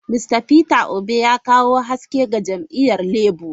Mista Peter obi ya kawo haske ga jam'iyyar Labour.